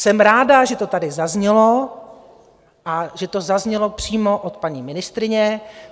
Jsem ráda, že to tady zaznělo a že to zaznělo přímo od paní ministryně.